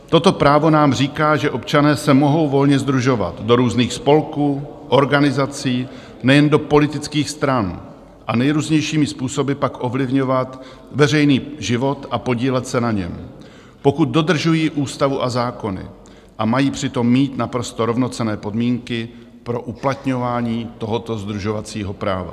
Toto právo nám říká, že občané se mohou volně sdružovat do různých spolků, organizací, nejen do politických stran, a nejrůznějšími způsoby pak ovlivňovat veřejný život a podílet se na něm, pokud dodržují ústavu a zákony, a mají přitom mít naprosto rovnocenné podmínky pro uplatňování tohoto sdružovacího práva.